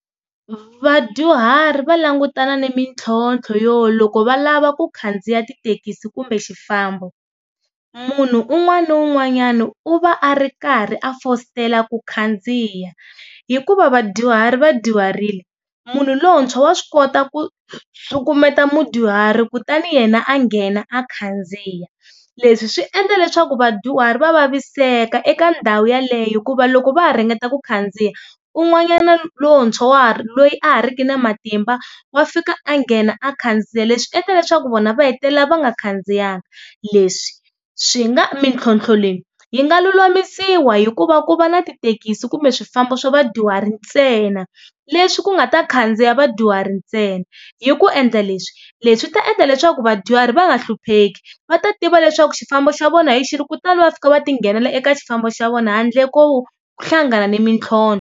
Vadyuhari va langutana ni mintlhontlho yo loko va lava ku khandziya tithekisi kumbe xifambo munhu un'wana na un'wanyana u va a ri karhi a fositela ku khandziya, hikuva vadyuhari vadyuharile munhu lontshwa wa swi kota ku cukumeta mudyuhari kutani yena a nghena a khandziya. Leswi swi endla leswaku vadyuhari va vaviseka eka ndhawu yeleyo hikuva loko va ha ringeta ku khandziya un'wanyana lontshwa loyi a ha ri ki na matimba wa fika a nghena a khandziya leswi endla leswaku vona va hetelela va nga khandziyanga leswi swi nga mintlhontlho leyi yi nga lulamisiwa hikuva ku va na tithekisi kumbe swifambo swa vadyuhari ntsena leswi ku nga ta khandziya vadyuhari ntsena. Hi ku endla leswi, leswi ta endla leswaku vadyuhari va nga hlupheki, va ta tiva leswaku xifambo xa vona hi xihi kutani va fika va ti nghenela eka xifambo xa vona handle ko hlangana ni mintlhontlho.